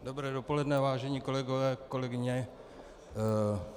Dobré dopoledne, vážení kolegové, kolegyně.